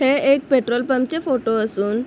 हे एक petrol pump चे फोटो असून--